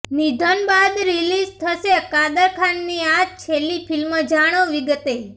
નિધન બાદ રિલીઝ થશે કાદર ખાનની આ છેલ્લી ફિલ્મ જાણો વિગતે